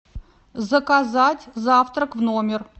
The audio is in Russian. заказать завтрак в номер